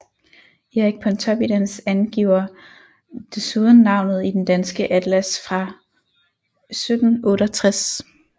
Erik Pontoppidans angiver desuden navnet i Den danske Atlas fra 1768